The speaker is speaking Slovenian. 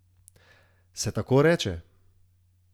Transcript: Se tako reče?